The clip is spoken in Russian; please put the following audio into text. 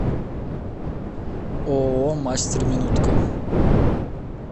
ооо мастер минутка